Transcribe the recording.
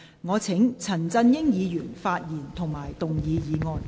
我請陳振英議員發言及動議議案。